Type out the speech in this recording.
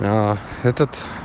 этот